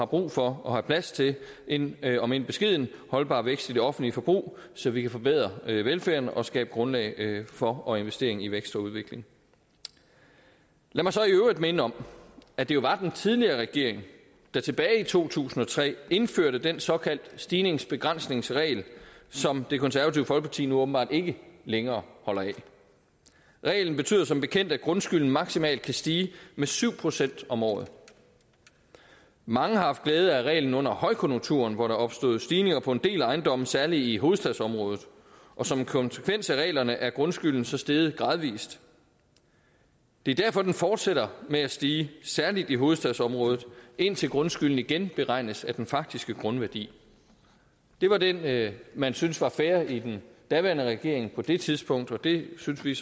brug for og plads til en omend beskeden holdbar vækst i det offentlige forbrug så vi kan forbedre velfærden og skabe grundlag for og investering i vækst og udvikling lad mig så i øvrigt minde om at det var den tidligere regering der tilbage i to tusind og tre indførte den såkaldte stigningsbegrænsningsregel som det konservative folkeparti nu åbenbart ikke længere holder af reglen betyder som bekendt at grundskylden maksimalt kan stige med syv procent om året mange har haft glæde af reglen under højkonjunkturen hvor der opstod stigninger på en del ejendomme særlig i hovedstadsområdet og som konsekvens af reglerne er grundskylden så steget gradvis det er derfor den fortsætter med at stige særlig i hovedstadsområdet indtil grundskylden igen beregnes af den faktiske grundværdi det var det man syntes var fair i den daværende regering på det tidspunkt og det synes vi